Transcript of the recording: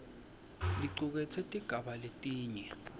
licuketse tigaba letine